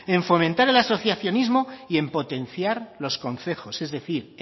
en fomentar el asociacionismo y en potenciar los concejos es decir